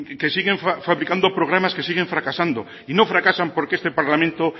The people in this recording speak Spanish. que siguen fabricando programas que siguen fracasando y no fracasas porque este parlamento